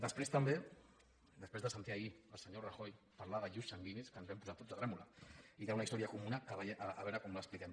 després també després de sentir ahir el senyor rajoy parlar d’ius sanguinis que ens vam posar tots a tremolar i d’una història comuna que a veure com l’expliquem